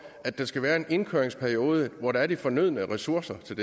at der skal være en indkøringsperiode hvor der er de fornødne ressourcer til